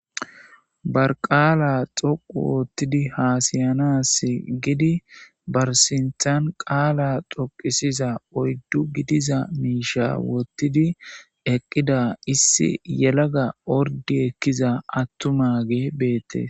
barqaala xoqu woottidi haasiyanas gidi bar sinthan qaala xoqisiza oyddu gidiza miisha wottidi eqqida issi yelaga ordi ekkiza attumage beette